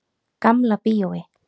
Gamla bíói.